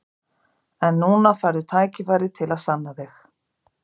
En núna færðu tækifæri til að sanna þig.